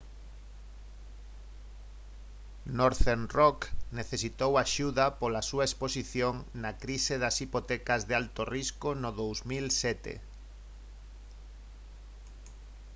northern rock necesitou axuda pola á súa exposición na crise das hipotecas de alto risco no 2007